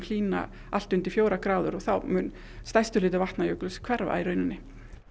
hlýna allt undir fjórar gráður og þá mun stærstur hluti Vatnajökuls hverfa í rauninni